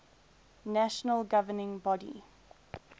national governing body